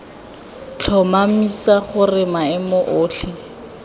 f tlhomamisa gore maemo otlhe